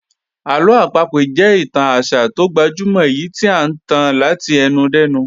Àlọ́ àpagbè jẹ́ ìtàn àṣà tó gbajúmọ̀ èyí tí à ń tàn láti ẹnu dẹ́nu